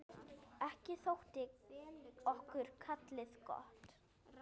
Ekki þótti okkur kálið gott.